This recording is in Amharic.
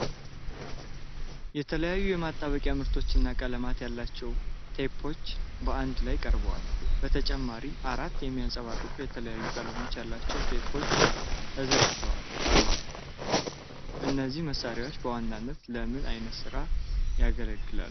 የተለያዩ የማጣበቂያ ምርቶችና ቀለማት ያሏቸው ቴፖች በአንድ ላይ ቀርበዋል። በተጨማሪም አራት የሚያብረቀርቁ የተለያዩ ቀለም ያላቸው ቴፖች ተዘርግተው አሉ። እነዚህ መሣሪያዎች በዋናነት ለምን ዓይነት ሥራ ያገለግላሉ?